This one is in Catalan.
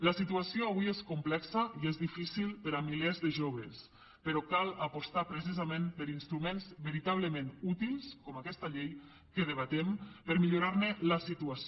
la situació avui és complexa i és difícil per a milers de joves però cal apostar precisament per instruments veritablement útils com aquesta llei que debatem per millorar ne la situació